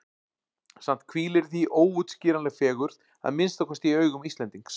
Samt hvílir í því óútskýranleg fegurð, að minnsta kosti í augum Íslendings.